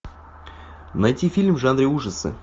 найти фильм в жанре ужасы